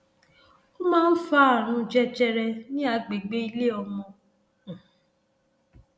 o máa ń fa ààrùn jẹjẹrẹ ní agbègbè ilé ọmọ um